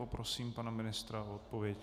Poprosím pana ministra o odpověď.